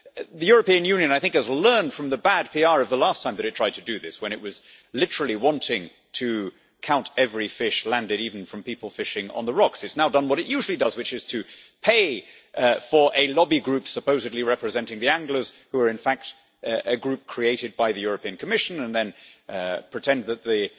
The European Union, I think, has learned from the bad PR of the last time that it tried to do this, when it was literally wanting to count every fish landed, even from people fishing on the rocks. It has now done what it usually does, which is to pay for a lobby group, supposedly representing the anglers, who are in fact a group created by the Commission, and then pretend that the